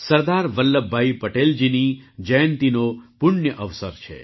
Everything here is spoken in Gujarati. સરદાર વલ્લભભાઈ પટેલજીની જયંતિનો પુણ્ય અવસર છે